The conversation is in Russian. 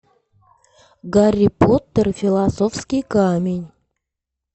гарри поттер и философский камень